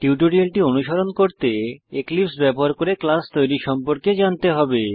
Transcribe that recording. টিউটোরিয়ালটি অনুসরণ করতে এক্লিপসে ব্যবহার করে ক্লাস তৈরী সম্পর্কে জানতে হবে